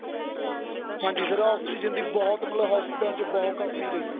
ਹਾਂਜੀ sir oxygen ਦੀ ਬਹੁਤ ਮਤਲਬ hospital ਚ ਬਹੁਤ ਕਮੀਂ ਰਹੀ